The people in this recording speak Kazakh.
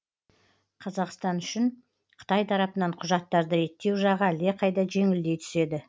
қазақстан үшін қытай тарапынан құжаттарды реттеу жағы әлдеқайда жеңілдей түседі